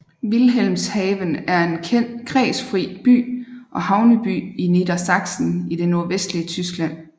Wilhelmshaven er en kredsfri by og havneby i Niedersachsen i det nordvestlige Tyskland